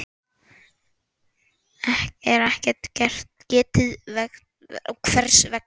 er ekkert getið hvers vegna.